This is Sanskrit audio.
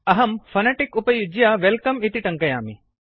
अहं फोनेटिक उपयुज्य वेल्कम इति टङ्कयामि